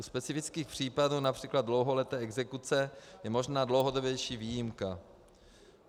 U specifických případů, například dlouholeté exekuce, je možná dlouhodobější výjimka.